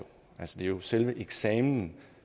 er jo selve eksamen